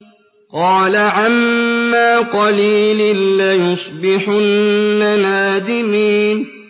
قَالَ عَمَّا قَلِيلٍ لَّيُصْبِحُنَّ نَادِمِينَ